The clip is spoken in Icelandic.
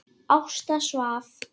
Ásta svaf.